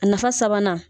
A nafa sabanan